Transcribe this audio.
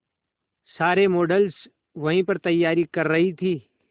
सारे मॉडल्स वहीं पर तैयारी कर रही थी